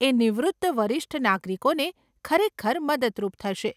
એ નિવૃત્ત વરિષ્ઠ નાગરિકોને ખરેખર મદદરૂપ થશે.